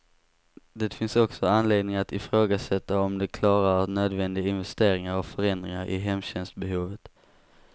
Det finns också anledning att ifrågasätta om de klarar nödvändiga investeringar och förändringar i hemtjänstbehovet.